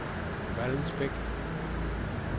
Vallensbæk